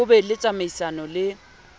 ho be le tsamaisano le